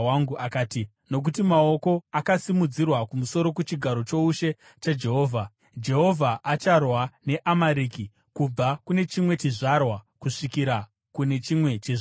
Akati, “Nokuti maoko akasimudzirwa kumusoro kuchigaro choushe chaJehovha. Jehovha acharwa neAmareki kubva kune chimwe chizvarwa kusvikira kune nechimwe chizvarwa.”